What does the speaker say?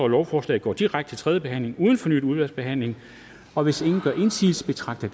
lovforslaget går direkte til tredje behandling uden fornyet udvalgsbehandling og hvis ingen gør indsigelse betragter